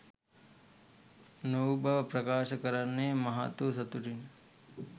නොවූ බව ප්‍රකාශ කරන්නේ මහත්වූ සතුටිනි.